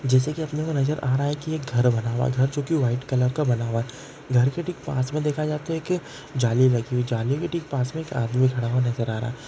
जेसे की अपने को नजर आ रहा है | घर बना हुआ है |जो की व्हाइट कलर का बना हुआ है पास मे दिखाने किएक जाली है एक जाल पास मे एक आदमी खड़ा हुआ नजर आ रहा है।